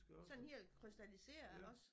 Sådan helt krystalliseret også